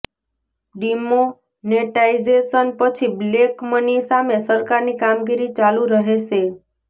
demonetisation પછી black money સામે સરકારની કામગીરી ચાલુ રહેશે